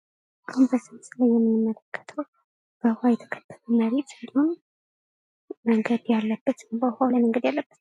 አሁን ለዚህ ምስል ላይ የምንመለከተው በውሃ የተከበበ መሬት እንዲሁም መንገድ ያለበት በውሃው ላይ መንገድ ያለበት......